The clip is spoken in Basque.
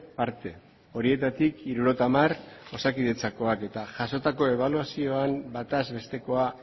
parte horietatik hirurogeita hamar osakidetzakoak eta jasotako ebaluazioan bataz bestekoa